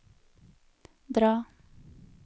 dra